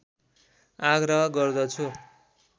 आग्रह गर्दछु